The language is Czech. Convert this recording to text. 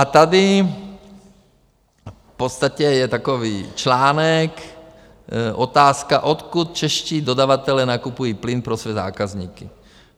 A tady v podstatě je takový článek, otázka, odkud čeští dodavatelé nakupují plyn pro své zákazníky.